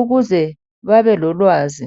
ukuze babe lolwazi .